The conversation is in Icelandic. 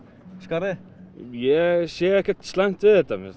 skarðið ég sé ekkert slæmt við þetta mér